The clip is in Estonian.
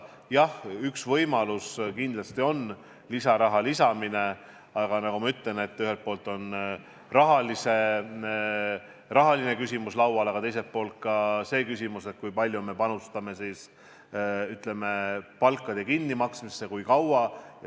Jah, üks võimalusi on kindlasti raha lisamine, aga nagu ma ütlesin, ühelt poolt on laual rahaküsimus, teiselt poolt ka see küsimus, kui palju me panustame palkade kinnimaksmisesse ja kui kaua.